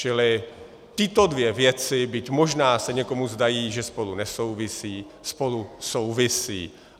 Čili tyto dvě věci, byť možná se někomu zdá, že spolu nesouvisí, spolu souvisí.